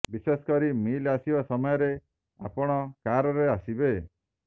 ବିଶେଷ କରି ମିଲ୍ ଆସିବା ସମୟରେ ଆପଣ କାର୍ରେ ଆସିବେ